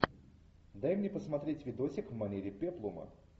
дай мне посмотреть видосик в манере пеплума